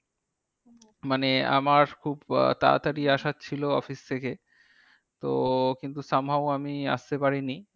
মানে আমার খুব তাড়াতাড়ি আসার ছিল office থেকে। তো কিন্তু somehow আমি আস্তে পারিনি।